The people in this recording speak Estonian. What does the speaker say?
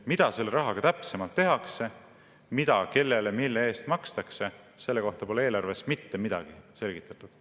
Mida selle rahaga täpsemalt tehakse, mida, kellele, mille eest makstakse, selle kohta pole eelarves mitte midagi selgitatud.